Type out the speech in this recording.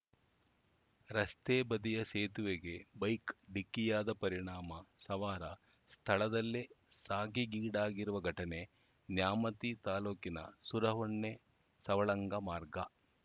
ರಸ್ತೆ ಬದಿಯ ಸೇತುವೆಗೆ ಬೈಕ್‌ ಡಿಕ್ಕಿಯಾದ ಪರಿಣಾಮ ಸವಾರ ಸ್ಥಳದಲ್ಲೇ ಸಾಗೀಡಾಗಿರುವ ಘಟನೆ ನ್ಯಾಮತಿ ತಾಲೂಕಿನ ಸುರಹೊನ್ನೆಸವಳಂಗ ಮಾರ್ಗ